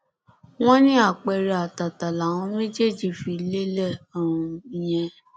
wọn ní àpẹẹrẹ àtàtà làwọn méjèèjì fi lélẹ um yẹn